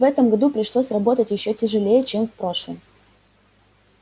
в этом году пришлось работать ещё тяжелее чем в прошлом